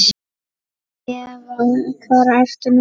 Eva: Hvar ertu núna?